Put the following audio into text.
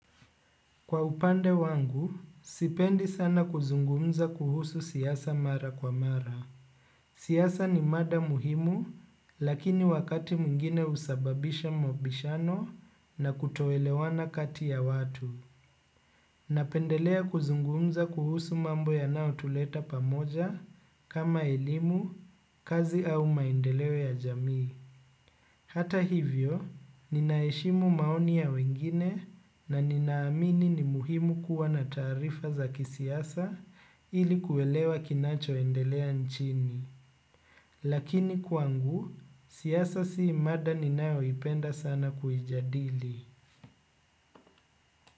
Kwa upande wangu, sipendi sana kuzungumza kuhusu siyasa mara kwa mara. Siasa ni mada muhimu, lakini wakati mwingine usababisha mabishano na kutoelewana kati ya watu. Napendelea kuzungumza mambo yanayo tuleta pamoja kama elimu kazi au maendeleo ya jamii. Hata hivyo, ninaeshimu maoni ya wengine na ninaamini ni muhimu kuwa na taarifa za kisiasa ili kuelewa kinacho endelea nchini. Lakini kwangu, siasa si mada ninayo ipenda sana kujadili.